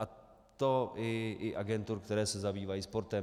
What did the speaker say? A to i agentur, které se zabývají sportem.